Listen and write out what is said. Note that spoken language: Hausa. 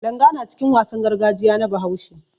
Langa na cikin wasan gargajiya na Bahaushe.